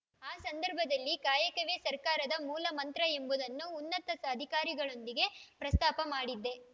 ಆ ಸಂದರ್ಭದಲ್ಲಿ ಕಾಯಕವೇ ಸರ್ಕಾರದ ಮೂಲಮಂತ್ರ ಎಂಬುದನ್ನು ಉನ್ನತ ಅಧಿಕಾರಿಗಳೊಂದಿಗೆ ಪ್ರಸ್ತಾಪ ಮಾಡಿದ್ದೆ